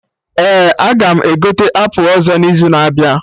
Ee. 8897aga m egote apụl ọzọ n'izu na-abịa